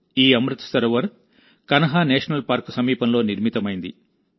ఈ Amrit Sarovar Kanha national park సమీపంలో నిర్మితమైంది